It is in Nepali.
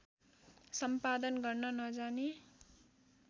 सम्पादन गर्न नजाने